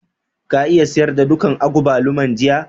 Ka iya sayar da dukan agbaluman jiya?